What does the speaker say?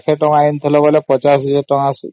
ଲକ୍ଷେ ଟଙ୍କାର ୫୦୦୦୦ ଦେଲେ ବି